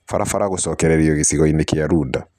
Barabara gũcokererio gĩcigo-inĩ kĩa Runda